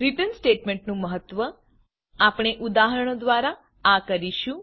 return statementરીટર્ન statement નું મહત્વ આપણે ઉદાહરણો દ્વારા આ કરીશું